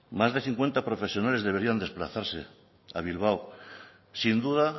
más de cincuenta profesionales deberían desplazarse a bilbao sin duda